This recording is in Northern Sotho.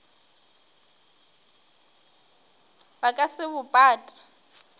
ba ka se bo pate